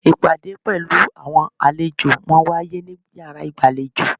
Ìpàdé pelu àwọn àlejò máa ń wáyé ní yàrá ìgbàlejò.